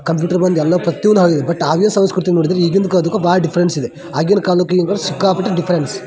Computer ಬಂದು ಎಲ್ಲ ಪ್ರತಿಯೊಂದು ಆಗಿದೆ ಬಟ್ ಆಗಿನ ಸಂಸ್ಕೃತಿ ನೋಡಿದ್ರೆ ಈಗಿನದಕ್ಕೂ ಆಗಿನದಕ್ಕು ಭಾಳ ಡಿಫ್ಫೆರೆನ್ಸ್ ಇದೆ ಆಗಿನ ಕಾಲಕ್ಕೂ ಈಗ ಸಿಕ್ಕಾಪಟ್ಟೆ ಡಿಫರೆನ್ಸ್ .